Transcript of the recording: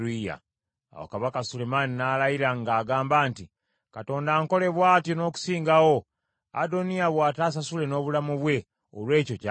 Awo Kabaka Sulemaani n’alayira ng’agamba nti, “Katonda ankole bw’atyo n’okusingawo, Adoniya bw’atasasule n’obulamu bwe olw’ekyo ky’asabye!